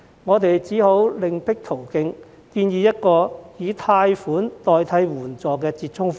我們只好另闢途徑，建議一個以貸款代替援助的折衷方案。